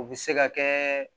U bɛ se ka kɛ